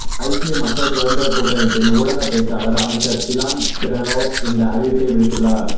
ஐக்கிய மக்கள் சுதந்திரக் கூட்டமைப்பின் ஊடகப் பேச்சாளர் அமைச்சர் டிலான் பெரேரா இந்த அறிவிப்பை விடுத்துள்ளார்